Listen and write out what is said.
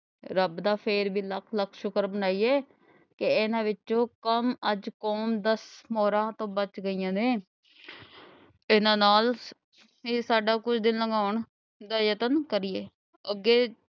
ਰੱਬ ਦਾ ਫੇਰ ਵੀ ਲੱਖ ਲੱਖ ਸ਼ੁਕਰ ਮਨਾਈਏ ਕਿ ਇਨ੍ਹਾਂ ਵਿਚੋਂ ਕੰਮ ਅੱਜ , ਪੰਜ ਦਸ ਮੋਹਰਾਂ ਤਾਂ ਬਚ ਗਈਆਂ ਨੇ ਇਨ੍ਹਾਂ ਨਾਲ ਹੀ ਸਾਡਾ ਕੁਝ ਦਿਨ ਲੰਘਾਉਣ ਦਾ ਯਤਨ ਕਰੀਏ ਅੱਗੇ,